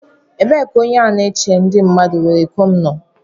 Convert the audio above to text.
Ebee ka onye na-eche ndi mmadu were iko m nọ?